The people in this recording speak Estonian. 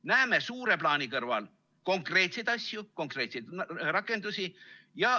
Näeme suure plaani kõrval konkreetseid asju, konkreetseid rakendusi.